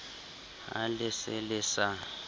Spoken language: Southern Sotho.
ha le se le sa